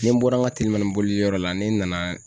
Ni n bɔra n ka telimanin boliyɔrɔ la ne nana.